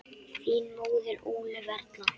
Þín móðir, Ólöf Erla.